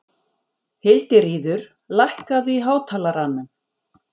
Hildiríður, lækkaðu í hátalaranum.